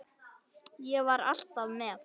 Ég var alltaf með.